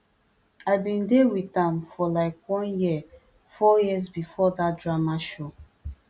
i bin dey wit am for like one year four years bifor dat drama show